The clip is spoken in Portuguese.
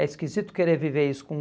É esquisito querer viver isso com